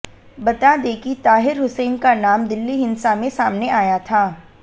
बता दें कि ताहिर हुसैन का नाम दिल्ली हिंसा में सामने आया था